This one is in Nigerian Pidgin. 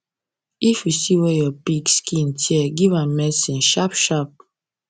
if you see wer your pig skin tear give am medicine sharp sharp